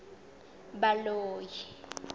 baloi